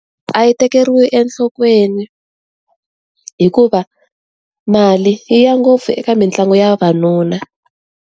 A hi tekeriwi enhlokweni hikuva mali yi ya ngopfu eka mitlangu ya vavanuna.